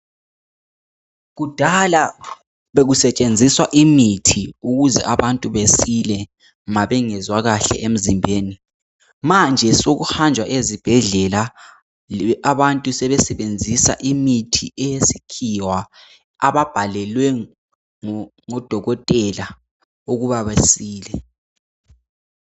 Kudala bekusetshenziswa imithi ukuze abantu besile nxa bengezwa kahle emzimbeni. Manje sokuhanjwa ezibhedlela. Abantu sebesebenzisa imithi yesikhiwa, abayibhalelwe ngodokotela, ukuba besile.